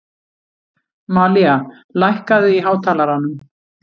Malía, lækkaðu í hátalaranum.